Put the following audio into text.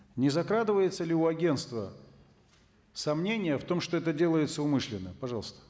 не закрадывается ли у агенства сомнения в том что это делается умышленно пожалуйста